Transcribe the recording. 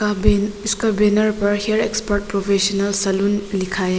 यहां पे इसका बैनर पर हेयर एक्सपर्ट प्रोफेसनल सैलून लिखा है।